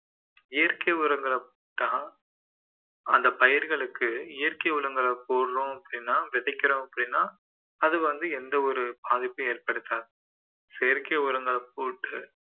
இயற்கை உரங்களை தான் அந்த பயிர்களுக்கு இயற்கை உரங்களை போடுறோம் அப்படின்னா விதைக்கிறோம் அப்படின்னா அது வந்து எந்த ஒரு பாதிப்பும் ஏற்படுத்தாது செயற்கை உரங்கள் போட்டு